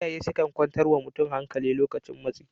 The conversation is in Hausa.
Iyaye sukan kwantar wa mutum hankali lokacin matsi